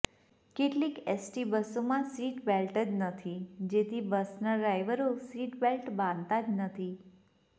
કેટલીક એસટી બસોમાં seat belt જ નથી જેથી બસના ડ્રાઈવરો સીટ બેલ્ટ બાંધતા નથી